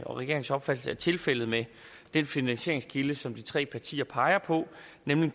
og regeringens opfattelse er tilfældet med den finansieringskilde som de tre partier peger på nemlig